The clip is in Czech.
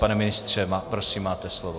Pane ministře, prosím, máte slovo.